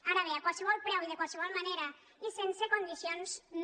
ara bé a qualsevol preu de qualsevol manera i sense condicions no